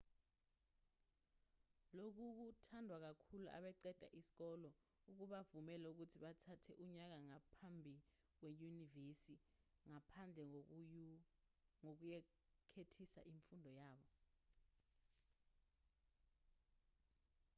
lokhu kuthandwa kakhulu abaqeda isikole okubavumela ukuthi bathathe unyaka ngaphambi kwenyuvesi ngaphandle kokuyekethisa imfundo yabo